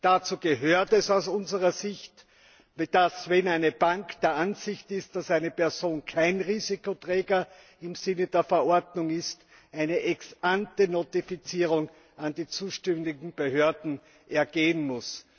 Dazu gehört es aus unserer Sicht, dass, wenn eine Bank der Ansicht ist, dass eine Person kein Risikoträger im Sinne der Verordnung ist, eine Ex ante Notfizierung an die zuständigen Behörden ergehen muss.